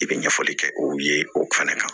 I bɛ ɲɛfɔli kɛ u ye o fɛnɛ kan